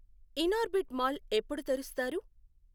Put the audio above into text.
Inorbit mall ఎప్పుడు తెరుస్తారు?